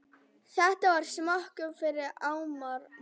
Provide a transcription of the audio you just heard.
Þetta var skömmu fyrir áramót.